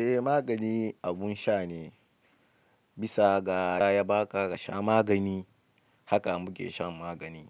Eh magani abun sha ne bisa ga ya ba ka sha magani, haka mu ke shan magani.